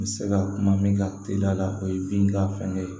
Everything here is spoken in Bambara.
N bɛ se ka kuma min kan teliya la o ye bin ka fɛn ye